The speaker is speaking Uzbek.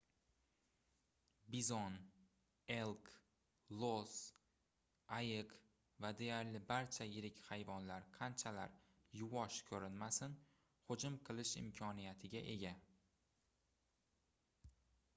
bizon elk los ayiq va deyarli barcha yirik hayvonlar qanchalar yuvosh koʻrinmasin hujum qilish imkoniyatiga ega